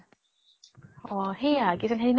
অ সেইয়া কি জান সেই